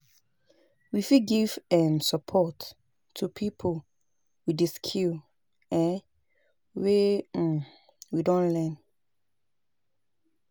We fit give um support to pipo with di skill um wey um we don learn